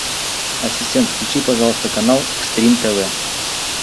ассистент включи пожалуйста канал экстрим тв